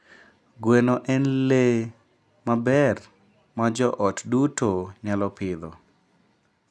Gweno en le maber ma joot duto nyalo pidho.